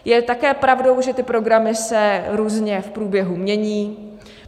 Je také pravdou, že ty programy se různě v průběhu mění.